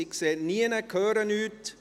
Ich sehe und höre nichts.